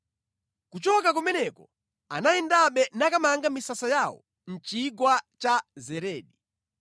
Kuchoka kumeneko anayendabe nakamanga misasa yawo mʼchigwa cha Zeredi.